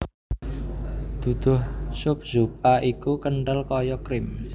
Duduh sup zupa iku kenthel kaya krim